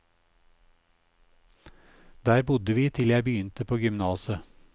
Der bodde vi til jeg begynte på gymnaset.